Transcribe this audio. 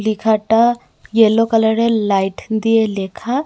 লেখাটা ইয়েলো কালারের লাইট দিয়ে লেখা।